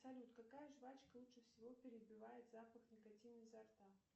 салют какая жвачка лучше всего перебивает запах никотина изо рта